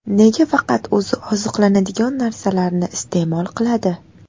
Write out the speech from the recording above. Nega faqat o‘zi oziqlanadigan narsalarni iste’mol qiladi?